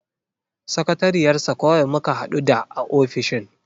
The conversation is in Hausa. Sakatariyar sa kawai muka hadu da a ofishin.